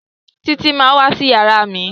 Títí má wá sí iyàrá mí.